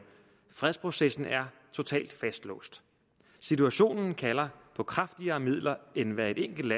fredsprocessen er totalt fastlåst situationen kalder på kraftigere midler end hvad et enkelt